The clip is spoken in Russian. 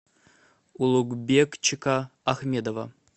улугбекчика ахмедова